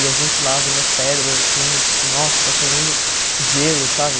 E a gente lá vendo as pedras, assim, tipo, nossa, está chovendo gelo, sabe?